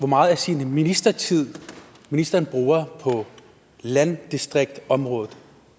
meget af sin ministertid ministeren bruger på landdistriktsområdet